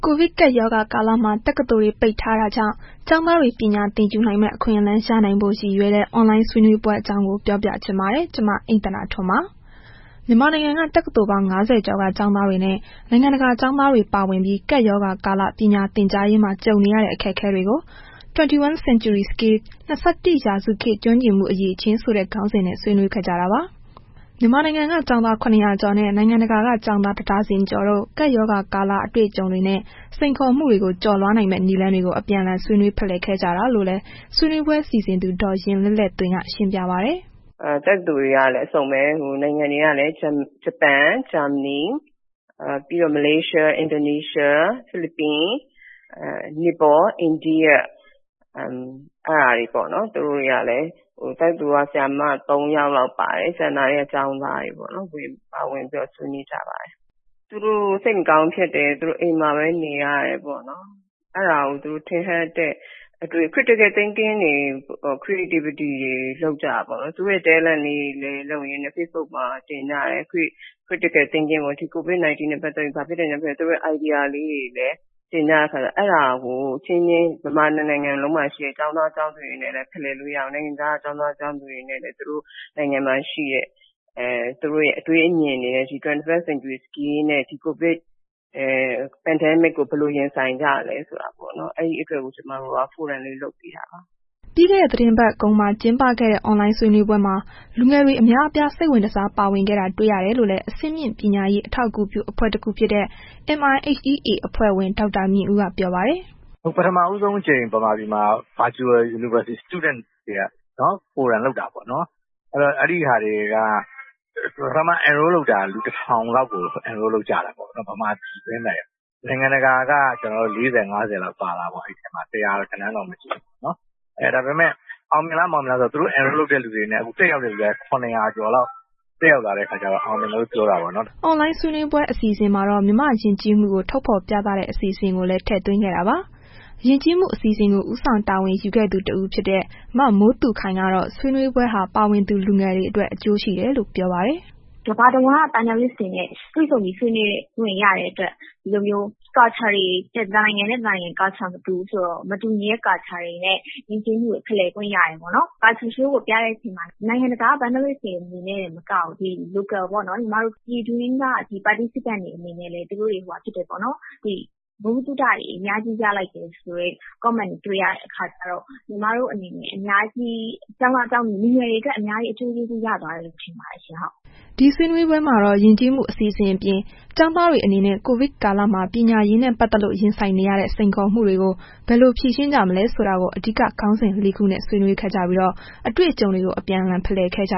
ိုဗစ်ကပ်ရောဂါကာလမှာ တက္ကသိုလ်တွေပိတ်ထားတာကြောင့် ကျောင်းသားတွေ ပညာသင်ယူနိုင်မယ့် အခွင့်အလမ်းရနိုင်ဖို့ ရည်ရွယ်တဲ့ Online ဆွေးနွေးပွဲအကြောင်း ပြောပြချင်ပါတယ်။ ဗွီအိုအေမြန်မာပိုင်း သတင်းထောက် အိမ့်သန္တာထွန်းကရန်ကုန်ကနေ သတင်းပေးပို့ထားပါတယ်။ မြန်မာနိုင်ငံက တက္ကသိုလ်ပေါင်း ၅၀ ကျော်က ကျောင်းသားတွေနဲ့ နိုင်ငံတကာ ကျောင်းသားတွေ ပါဝင်ပြီး ကပ်ရောဂါကာလ ပညာသင်ကြားရေးမှာ ကြုံနေရတဲ့ အခက်ခဲတွေကို 21 Century Skill ၂၁ ရာစုခေတ် ကျွမ်းကျင်မှုအရည်အချင်းဆိုတဲ့ ခေါင်းစဉ်နဲ့ ဆွေးနွေးခဲ့ကြတာပါ။ မြန်မာနိုင်ငံက ကျောင်းသား ၇၀၀ကျော်နဲ့ နိုင်ငံတကာ ကျောင်းသား ၁ ဒါဇင်ကျော်တို့ ကပ်ရောဂါကာလ အတွေ့အကြုံတွေနဲ့ စိန်ခေါ်မှုတွေကို ကျော်လွှားနိုင်မယ့် နည်းလမ်းတွေကို အပြန်အလှန် ဆွေးနွေးဖလှယ်ခဲ့ကြတာလို့လည်း ဆွေးနွေးပွဲစီစဉ်သူ ဒေါ်ယဉ်လဲ့လဲ့သွင်က ရှင်းပြပါတယ်။ “တက္ကသိုလ်တွေကလည်း အစုံပဲ နိုင်ငံတွေကလည်း ဂျပန်၊ ဂျာမနီ၊ ပြီးတော့ မလေးရှား၊ အင်ဒိုနီးရှား ၊ ဖိလစ်ပိုင်၊ နီပေါ ၊အိန္ဒိယ အဲ့ဒါတွေပေါ့နှော် သူတို့တွေကလည်း တက္ကသိုလ်က ဆရာမ ၃ ယောက်လောက်ပါတယ်။ ကျန်တာတွေက ကျောင်းသားတွေပေါ့နော်။ ဝင်ပြီးတော့ ဆွေးနွေးကြပါတယ်။ သူတို့ စိတ်မကောင်းဖြစ်တယ်၊ သူတို့ အိမ်မှာပဲ နေရတယ်ပေါ့နော်၊ အဲ့ဒါကို ထင်ဟပ်တဲ့ သူတို့ရဲ့ Critical Thanking တွေ လုပ်ကြတာပေါ့နှော်။ သူတို့ရဲ့ Talent လေးတွေ လုပ်ရင်းနဲ့ Facebook ပေါ်မှာတင်ကြတယ်။ Critical Thanking နှင့် ဒီ COVID-19 နဲ့ပတ်သက်လို့ ဘာဖြစ်တယ် ညာဖြစ်တယ် သူတို့ရဲ့ Idea လေးတွေလည်း တင်ကြတဲ့အခါကျတော့ အဲ့ဒါကို အချင်းချင်း မြန်မာတစ်နိုင်ငံလုံးမှာရှိတဲ့ ကျောင်းသား၊ ကျောင်းသူတွေနဲ့လည်း ဖလှယ်လို့ရအောင်၊ နိုင်ငံခြားက ကျောင်းသားကျောင်းသူတွေနဲ့လည်း သူတို့နိုင်ငံမှာရှိတဲ့ သူတို့ရဲ့ အတွေးအမြင်တွေနဲ့ သူတို့ရဲ့ 21st Century COVID Pandemic ကို ဘယ်လို ရင်ဆိုင်ကြသလဲဆိုတာမျိုးကို ကျွန်မတို့ ဖိုရမ်လေး လုပ်ပေးတာပါ။” ပြီးခဲ့တဲ့ သီတင်းပတ်ကုန်မှာ ကျင်းပခဲ့တဲ့ အွန်လိုင်းဆွေးနွေးပွဲမှာ လူငယ်တွေအများအပြား စိတ်ဝင်တစား ပါဝင်ခဲ့တာ တွေ့ရကြောင်းလည်း အဆင့်မြင့် ပညာရေး အထောက်အကူပြုအဖွဲ့တစ်ခုဖြစ်တဲ့ MIHEA အဖွဲ့ဝင် ဒေါက်တာမြင့်ဦးက ပြောပါတယ်။ “ပထမဦးဆုံးအကြိမ် ဗမာပြည်မှာ Virtual University Student တွေက Forum လုပ်တာပေါ့နှော်။ အဲ့တော့ အဲ့ဒီဟာတွေက ပထမက လူတစ်ထောင်လောက် စိတ်ဝင်တစားဝင်လျှောက်ကြတာပေါ့ နိုင်ငံတကာက ၄၀၊ ၅၀ လောက်ပါတာပေါ့ အဲ့ထဲမှာ ၁၀၀ တော့မရှိဘူး။ အဲ့တော့ အောင်မြင်လား မအောင်မြင်လားဆိုတော့ လျှောက်တဲ့လူတွေနဲ့ ခုတက်ရောက်တဲ့လူတွေက ၇၀၀ ကျော်လောက် တက်ရောက်လာတဲ့ အခါကျတော့ အောင်မြင်တယ်လို့ ပြောတာပေါ့နော်။” အွန်လိုင်းဆွေးနွေးပွဲ အစီအစဉ်မှာတော့ မြန်မာ့ ယဉ်ကျေးမှုကို ထုတ်ဖော်ပြသတဲ့ အစီအစဉ်ကိုလည်း ထည့်သွင်းခဲ့တာပါ။ ယဉ်ကျေးမှု အစီအစဉ်ကို ဦးဆောင်တာဝန်ယူခဲ့သူ တဦးဖြစ်တဲ့ မမိုးသူခိုင်ကတော့ ဆွေးနွေးပွဲဟာ ပါဝင်သူ လူငယ်တွေအတွက် အကျိုးရှိတယ်လို့ ပြောပါတယ်။ “ကမ္ဘာတဝန်းက ကျောင်းသားတွေနဲ့ တွေဆုံပြီးဆွေးနွေးခွင့် ရတဲ့အတွက် ဒီလိုမျိုး တစ်နိုင်ငံနဲ့ တစ်နိုင်ငံ Culture မတူဘူးဆိုတော့ မတူညီတဲ့ ယဉ်ကျေးမှုတွေကို ဖလှယ်ခွင့်ရတယ်ပေါ့နော်။ Culture Show ကို ပြတဲ့အချိန်မှာ နိုင်ငံတကာက ကျောင်းသားတွေတင်မကဘူး ပြည်တွင်းက ပါဝင်တဲ့သူတွေပါ ဗဟုသုတတွေ အများကြီးရလိုက်တယ်ဆိုတဲ့ Comment တွေရတဲ့အခါကျတော့ ညီမတို့ အနေနဲ့ အများကြီး ကျောင်းသားကျောင်းသူ လူငယ်တွေအတွက် အများကြီး အကျိုးကျေးဇူး ရသွားမယ်လို့ ထင်ပါတယ်ရှင့်။” ဒီဆွေးနွေးပွဲမှာတော့ ယဉ်ကျေးမှုအစီအစဉ်အပြင် ကျောင်းသားတွေ အနေနဲ့ ကိုဗစ်ကာလမှာ ပညာရေးနဲ့ ပတ်သက်လို့ ရင်ဆိုင်နေရတဲ့ စိန်ခေါ်မှုတွေကို ဘယ်လို ဖြေရှင်းကြမလဲ ဆိုတာကို အဓိက ခေါင်းစဉ်လေးခုနဲ့ ဆွေးနွေးခဲ့ကြပြီး အတွေ့အကြုံတွေကို အပြန်အလှန် ဖလှယ်ခဲ့ကြ